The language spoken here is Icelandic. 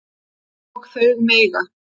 Og þau mega